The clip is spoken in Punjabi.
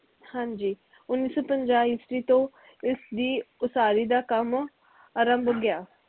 ਹਾਂਜੀ ਉੱਨੀ ਸੋ ਪੰਜਾਹ ਈਸਵੀ ਤੋਂ ਇਸ ਦੀ ਉਸਾਰੀ ਦਾ ਕੰਮ ਆਰੰਭ ਗਿਆ